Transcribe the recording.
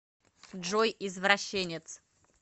джой извращенец